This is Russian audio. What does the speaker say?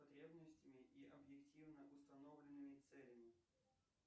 потребностями и объективно установленными целями